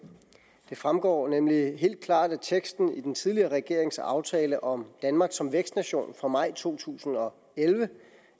det fremgår nemlig helt klart af teksten i den tidligere regerings aftale om danmark som vækstnation fra maj to tusind og elleve